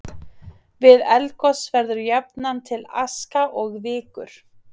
Við eldgos verður jafnan til aska og vikur.